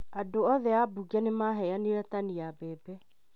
Andũ othe a mbunge nĩ maheanire tani ya mbebe